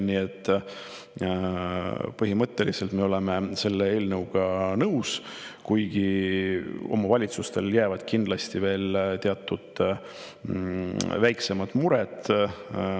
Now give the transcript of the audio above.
" Nii et põhimõtteliselt me oleme selle eelnõuga nõus, kuigi omavalitsustele jäävad teatud väiksemad mured kindlasti alles.